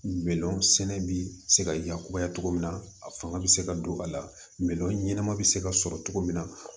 Bɛlɛnsɛnɛ bi se ka yakubaya cogo min na a fanga bi se ka don a la bɛlɛnma bɛ se ka sɔrɔ cogo min na